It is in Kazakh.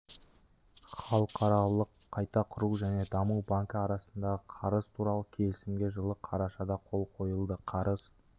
халықаралық қайта құру және даму банкі арасындағы қарыз туралы келісімге жылы қарашада қол қойылды қарыз